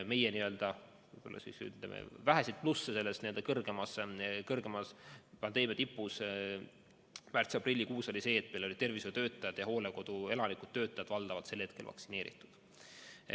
Meie väheseid plusse pandeemia tipus märtsi-aprillikuus oli see, et meil olid tervishoiutöötajad ja hooldekodude elanikud-töötajad valdavalt selleks ajaks vaktsineeritud.